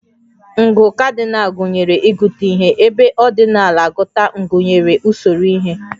Ngụ Cardinal gụnyere ịgụta ihe, ebe ordinal agụta gụnyere usoro ihe